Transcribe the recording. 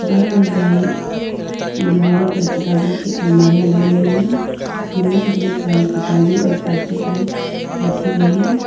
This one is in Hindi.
बाई और दाई दीवारों पर किताबों की अलमारियां लगी हुई हैं जिनमें ढेर सारी किताबें और पत्रिकाएं रखी गई हैं।